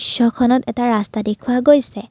এটা ৰাস্তা দেখুওৱা হৈছে।